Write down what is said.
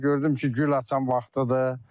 Gördüm ki, gül açan vaxtıdır.